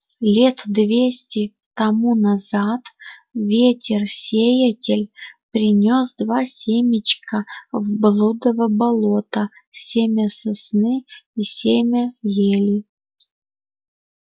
лет двести тому назад ветер-сеятель принёс два семечка в блудово болото семя сосны и семя ели